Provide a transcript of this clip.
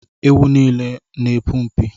Ewu n'ile a n'epu mpi